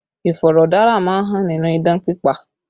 Iforodara má ń hàn nínú idán pípa